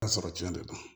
sɔrɔ cɛn de don